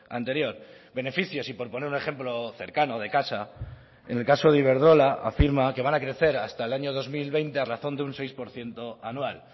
anterior beneficios y por poner un ejemplo cercano de casa en el caso de iberdrola afirma que van a crecer hasta el año dos mil veinte a razón de un seis por ciento anual